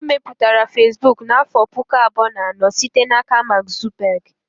E mepụtara Fesbụụk n'afọ pụkụ abụọ na anọ site n'aka Mark Zuckerberg